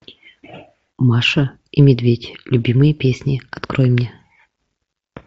маша и медведь любимые песни открой мне